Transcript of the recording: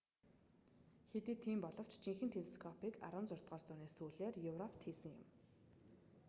хэдий тийм боловч жинхэнэ телескопыг 16-р зууны сүүлээр европод хийсэн юм